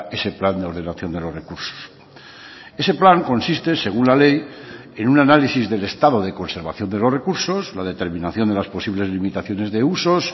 ese plan de ordenación de los recursos ese plan consiste según la ley en un análisis del estado de conservación de los recursos la determinación de las posibles limitaciones de usos